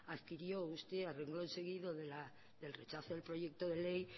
adquirió usted a renglón seguido del rechazo del proyecto de ley y